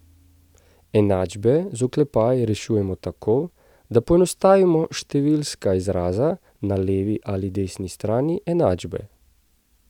Enačbe z oklepaji rešujemo tako, da poenostavimo številska izraza na levi ali desni strani enačbe.